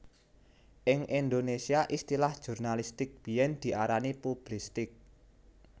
Ing Indonésia istilah jurnalistik biyen diarani publistik